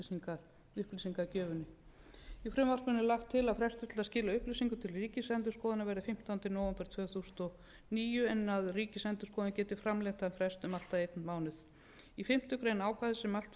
frumvarpinu er lagt til að frestur til að skila upplýsingum til ríkisendurskoðunar verði fimmtánda nóvember tvö þúsund og níu en að ríkisendurskoðun geti framlengt þann frest um allt að einn mánuð í fimmtu grein ákvæðis sem mælt er fyrir um að